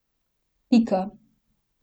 Pika.